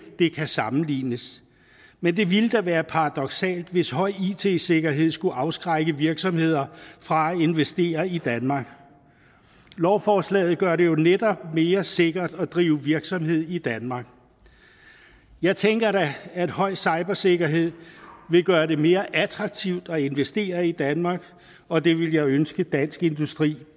det kan sammenlignes men det ville da være paradoksalt hvis høj it sikkerhed skulle afskrække virksomheder fra at investere i danmark lovforslaget gør det jo netop mere sikkert at drive virksomhed i danmark jeg tænker da at høj cybersikkerhed vil gøre det mere attraktivt at investere i danmark og det vil jeg ønske dansk industri